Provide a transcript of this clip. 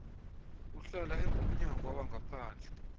uhlala engumnyangwa wangaphandle